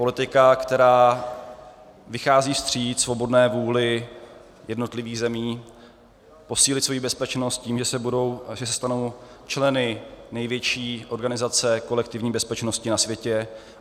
Politika, která vychází vstříc svobodné vůli jednotlivých zemí posílit svoji bezpečnost tím, že se stanou členy největší organizace kolektivní bezpečnosti na světě.